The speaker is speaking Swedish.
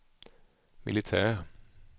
militär